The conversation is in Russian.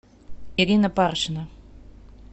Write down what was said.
ирина паршина